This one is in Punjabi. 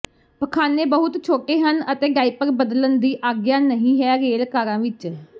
ਪਖਾਨੇ ਬਹੁਤ ਛੋਟੇ ਹਨ ਅਤੇ ਡਾਇਪਰ ਬਦਲਣ ਦੀ ਆਗਿਆ ਨਹੀਂ ਹੈ ਰੇਲ ਕਾਰਾਂ ਵਿੱਚ